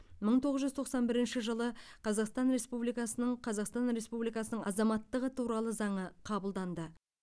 мың тоғыз жүз тоқсан бірінші жылы қазақстан республикасының қазақстан республикасының азаматтығы туралы заңы қабылданды